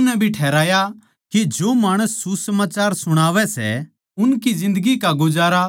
इस्से तरियां तै प्रभु नै भी ठहराया के जो माणस सुसमाचार सुणावै सै उनकी जिन्दगी का गुजारा